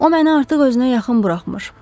O məni artıq özünə yaxın buraxmır.